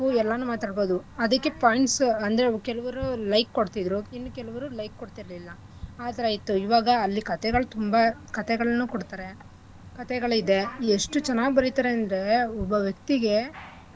ಎಲ್ಲಾನೂ ಮಾತಾಡ್ಬೋದು ಅದಿಕ್ಕೆ points ಅಂದ್ರೆ ಏನು ಕೆಲವ್ರು like ಕೊಡ್ತಿದ್ರು ಇನ್ ಕೆಲವ್ರು like ಕೊಡ್ಟಿರ್ಲಿಲ್ಲ ಆಥರ ಇತ್ತು ಈವಾಗ ಕಥೆಗಳ್ ತುಂಬಾ ಕಥೆಗಳ್ನೂ ಕೊಡ್ತರೆ ಕಥೆಗಳಿದೆ ಎಷ್ಟು ಚೆನ್ನಾಗ್ ಬರಿತರೆ ಅಂದ್ರೆ ಒಬ್ಬ ವ್ಯಕ್ತಿಗೆ.